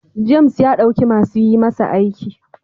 James ya dauki masu yi masa aiki.